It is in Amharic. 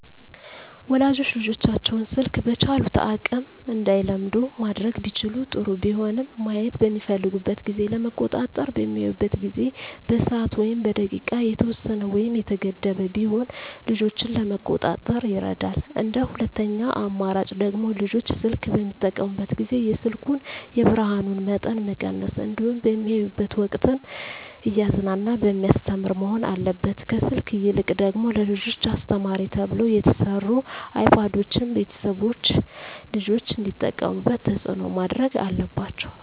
ወላጆች ልጆቻቸውን ስልክ በቻሉት አቅም እንዳይለምዱ ማድረግ ቢችሉ ጥሩ ቢሆንም ማየት በሚፈልጉበት ጊዜ ለመቆጣጠር በሚያዩበት ጊዜ በሰዓት ወይም በደቂቃ የተወሰነ ወይም የተገደበ ቢሆን ልጆችን ለመቆጣጠር ይረዳል እንደ ሁለተኛ አማራጭ ደግሞ ልጆች ስልክ በሚጠቀሙበት ጊዜ የስልኩን የብርሀኑን መጠን መቀነስ እንዲሁም በሚያዩበት ወቅትም እያዝናና በሚያስተምር መሆን አለበት ከስልክ ይልቅ ደግሞ ለልጆች አስተማሪ ተብለው የተሰሩ አይፓዶችን ቤተሰቦች ልጆች እንዲጠቀሙት ተፅዕኖ ማድረግ አለባቸው።